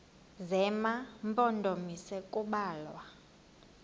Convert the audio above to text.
zema mpondomise kubalwa